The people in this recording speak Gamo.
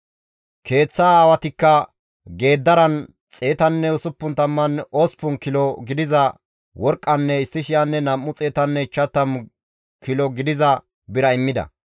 Keeththa aawatikka geeddaran 168 kilo gidiza worqqanne 1,250 kilo gidiza bira immida.